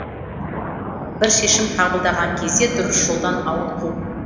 бір шешім қабылдаған кезде дұрыс жолдан ауытқу